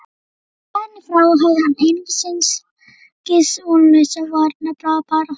Héðan í frá háði hann einungis vonlausa varnarbaráttu.